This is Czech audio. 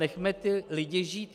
Nechme ty lidi žít.